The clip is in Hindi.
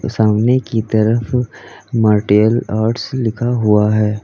सामने की तरफ मार्टेल आर्ट्स लिखा हुआ है।